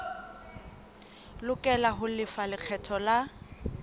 lokela ho lefa lekgetho la